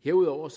herudover